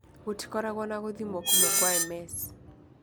Gũtikoragwo na gũthimo kũmwe kwa MS.